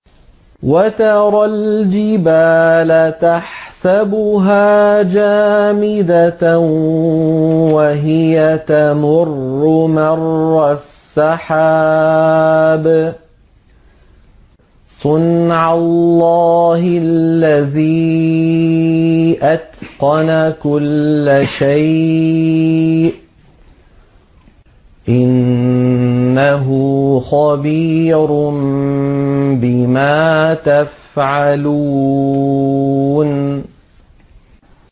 وَتَرَى الْجِبَالَ تَحْسَبُهَا جَامِدَةً وَهِيَ تَمُرُّ مَرَّ السَّحَابِ ۚ صُنْعَ اللَّهِ الَّذِي أَتْقَنَ كُلَّ شَيْءٍ ۚ إِنَّهُ خَبِيرٌ بِمَا تَفْعَلُونَ